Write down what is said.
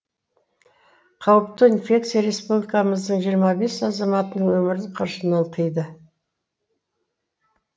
қауіпті инфекция республикамыздың жиырма бес азаматының өмірін қыршынан қиды